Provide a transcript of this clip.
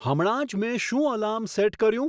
હમણાં જ મેં શું એલાર્મ સેટ કર્યું